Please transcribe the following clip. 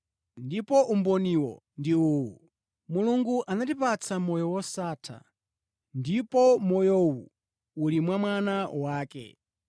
Ndipo umboniwo ndi uwu: Mulungu anatipatsa moyo wosatha, ndipo moyowu uli mwa Mwana wake.